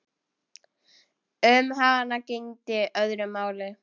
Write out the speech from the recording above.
Um hana gegndi öðru máli.